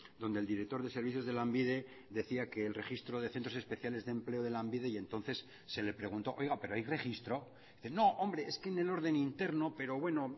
donde el director de servicios de lanbide decía que el registro de centros especiales de empleo de lanbide y entonces se le preguntó oiga pero hay registro no hombre es que en el orden interno pero bueno